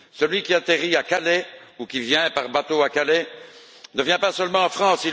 Celui qui atterrit à Calais ou qui vient par bateau à Calais ne vient pas seulement en France.